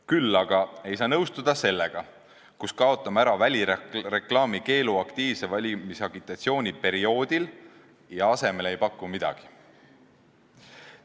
Küll aga ei saa nõustuda sellega, et kaotame aktiivse valimisagitatsiooni perioodil välireklaami keelu ja asemele ei paku midagi.